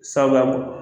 Sabu a bolo